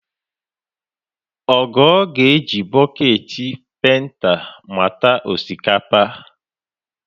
Ogo ga-eji bọketị penta mata osikapa